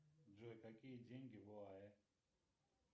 джой какие деньги в оаэ